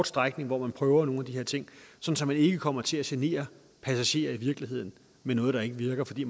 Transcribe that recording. strækning hvor man prøver nogle af de her ting så så man ikke kommer til at genere passagerer i virkeligheden med noget der ikke virker fordi